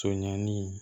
Conɲani